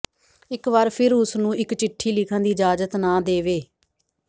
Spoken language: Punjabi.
ਇਕ ਵਾਰ ਫਿਰ ਉਸ ਨੂੰ ਇਕ ਚਿੱਠੀ ਲਿਖਣ ਦੀ ਇਜਾਜ਼ਤ ਨਾ ਦੇਵੇ